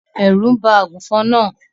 Ẹrú ń bá àgùnfòn náà.